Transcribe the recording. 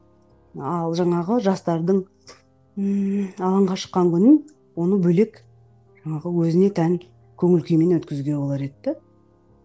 ал жаңағы жастардың ыыы алаңға шыққан күнін оны бөлек жаңағы өзіне тән көңіл күймен өткізуге болар еді де